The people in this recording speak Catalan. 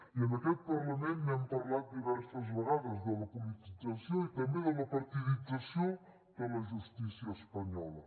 i en aquest parlament n’hem parlat diverses vegades de la politització i també de la partidització de la justícia espanyola